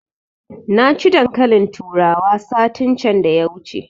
Na ci dankalin turawa satin can da ya wuce